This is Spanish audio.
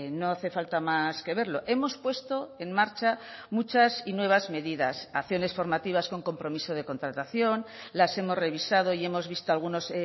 no hace falta más que verlo hemos puesto en marcha muchas y nuevas medidas acciones formativas con compromiso de contratación las hemos revisado y hemos visto algunos